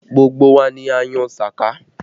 Gbogbo wa ni a yọ sàká